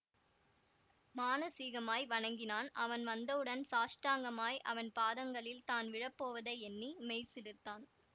மானசீகமாய் வணங்கினான் அவன் வந்தவுடன் சாஷ்டாங்கமாய் அவன் பாதங்களில் தான் விழப்போவதை எண்ணி மெய்சிலிர்த்தான்